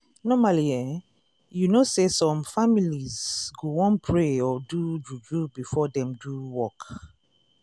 normally eh you know say some families go wan pray or do juju before dem do work.